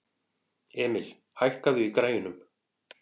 Emil, hækkaðu í græjunum.